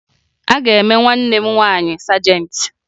A ga-eme nwanne m nwaanyị sajentị